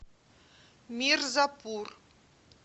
мирзапур